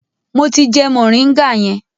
Mo ti jẹ moringa yẹn.